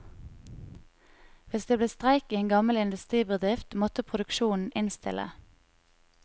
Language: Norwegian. Hvis det ble streik i en gammel industribedrift, måtte produksjonen innstille.